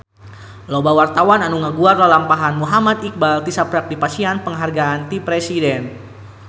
Loba wartawan anu ngaguar lalampahan Muhammad Iqbal tisaprak dipasihan panghargaan ti Presiden